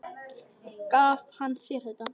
Gaf hann þér þetta?